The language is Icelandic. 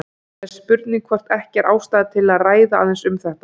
Það er spurning hvort ekki er ástæða til að ræða aðeins um þetta.